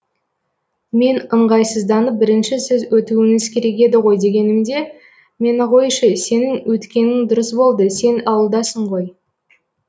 мен ыңғайсызданып бірінші сіз өтіуіңіз керек еді ғой дегенімде мені қойшы сенің өткенің дұрыс болды сен ауылдасың ғой